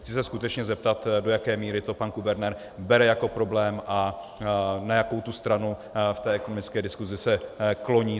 Chci se skutečně zeptat, do jaké míry to pan guvernér bere jako problém a na jakou tu stranu v té ekonomické diskusi se kloní.